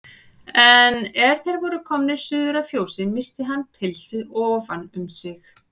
En er þeir voru komnir suður að fjósi missti hann pilsið ofan um sig.